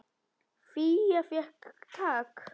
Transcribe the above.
Fía fékk tak.